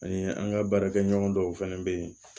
Ani an ka baarakɛɲɔgɔn dɔw fɛnɛ bɛ yen